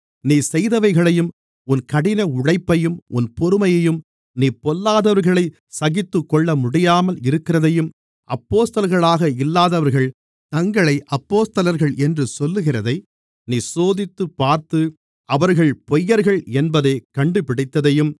நீ செய்தவைகளையும் உன் கடினஉழைப்பையும் உன் பொறுமையையும் நீ பொல்லாதவர்களைச் சகித்துக்கொள்ளமுடியாமல் இருக்கிறதையும் அப்போஸ்தலர்களாக இல்லாதவர்கள் தங்களை அப்போஸ்தலர்கள் என்று சொல்லுகிறதை நீ சோதித்துப்பார்த்து அவர்கள் பொய்யர்கள் என்பதைக் கண்டுபிடித்ததையும்